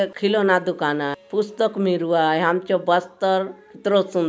एक खिलौना दुकान आय पुस्तक मिरुआय आम चो बस्तर कितरो सुंदर --